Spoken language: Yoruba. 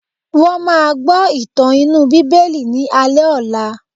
Wọ́n máa gbọ́ ìtàn inú bíbélì ni alé ọ̀la.